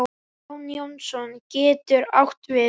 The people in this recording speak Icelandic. Jón Jónsson getur átt við